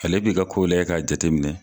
Ale b'i ka ko lajɛ ka jateminɛ.